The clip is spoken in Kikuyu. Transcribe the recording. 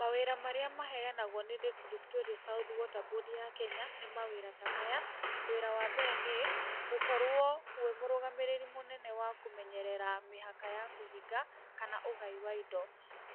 Mawĩra marĩa maheanagwo nĩ Lake Victoria South Water Board ya Kenya nĩ mawĩra ta maya, wĩra wa mbere nĩ, gũkorwo wĩ mũrũgamĩrĩri mũnene wa kũmenyerera mĩhaka ya kũhinga kana ũgai wa indo,